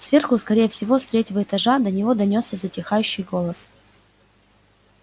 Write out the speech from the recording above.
сверху скорее всего с третьего этажа до него донёсся затихающий голос